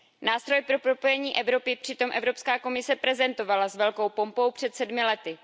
Nástroj pro propojení Evropy přitom Evropská komise prezentovala s velkou pompou před sedmi lety.